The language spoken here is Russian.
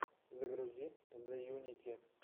загрузи зэйунити